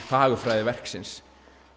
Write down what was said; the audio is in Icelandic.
fagurfræði verksins